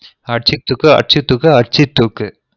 அடிச்சு தூக்கு அடிச்சு தூக்கு அடிச்சு தூக்கு